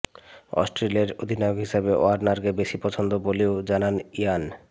অস্ট্রেলিয়ার অধিনায়ক হিসেবে ওয়ার্নারকে বেশি পছন্দ বলেও জানান ইয়ান